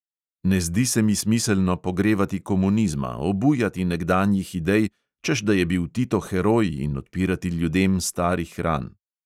Ne zdi se mi smiselno pogrevati komunizma, obujati nekdanjih idej, češ da je bil tito heroj, in odpirati ljudem starih ran.